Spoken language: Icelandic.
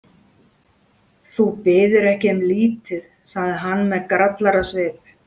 Þú biður ekki um lítið, segir hann með grallarasvip.